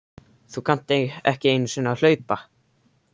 Þú kannt ekki einu sinni að hlaupa